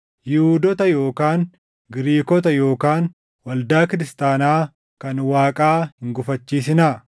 Yihuudoota yookaan Giriikota yookaan waldaa kiristaanaa kan Waaqaa hin gufachiisinaa;